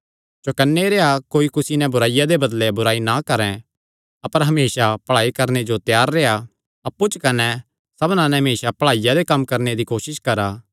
चौकन्ने रेह्आ कोई कुसी नैं बुराईया दे बदले बुराई ना करैं अपर हमेसा भलाई करणे जो त्यार रेह्आ अप्पु च कने सबना नैं हमेसा भलाईया दे कम्म करणे दी कोसस करा